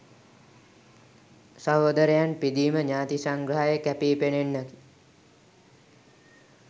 සහෝදරයන් පිදීම ඥාති සංග්‍රහයේ කැපී පෙනෙන්නෙකි.